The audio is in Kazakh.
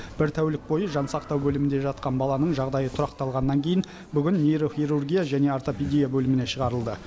бір тәулік бойы жансақтау бөлімінде жатқан баланың жағдайы тұрақталғаннан кейін бүгін нейрохирургия және ортопедия бөліміне шығарылды